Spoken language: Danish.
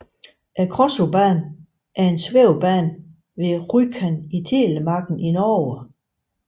Krossobanen er en svævebane ved Rjukan i Telemarken i Norge